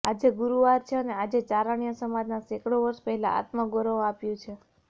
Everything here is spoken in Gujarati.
આજે ગૂરૂવાર છે અને આજે ચારણ્ય સમાજના સેંકડો વર્ષ પહેલા આત્મગૌરવ આપ્યું છે